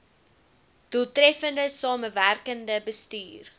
doeltreffende samewerkende bestuur